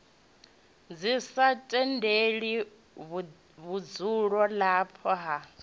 ḽi sa tendele vhudzulapo ha